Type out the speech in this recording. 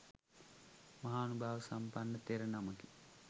මහානුභාව සම්පන්න තෙර නමකි.